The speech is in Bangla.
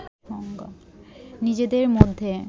নিজেদের মধ্যে